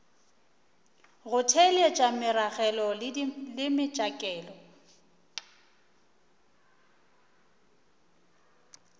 go theeletša meragelo le metšhakelo